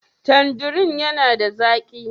Tandirin yana da zaƙi?